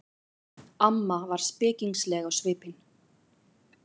Amma var spekingsleg á svipinn.